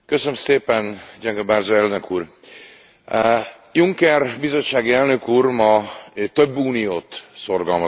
Juncker bizottsági elnök úr ma több uniót szorgalmazott Európában, és azt hiszem, hogy sokan ezzel egyetértünk.